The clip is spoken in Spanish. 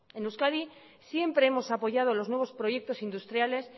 en euskadi siempre hemos apoyado los nuevos proyectos industriales